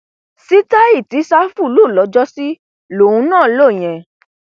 síta]ì tí ṣáfù lò lx]jx]sí lòun náà lò yẹn